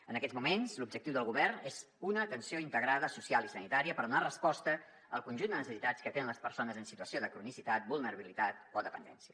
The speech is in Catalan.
en aquests moments l’objectiu del govern és una atenció integrada social i sanitària per donar resposta al conjunt de necessitats que tenen les persones en situació de cronicitat vulnerabilitat o dependència